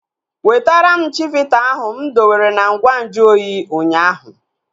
Wetara m chivita ahu mụ dowere na ngwa nju oyi ụnyaahụ!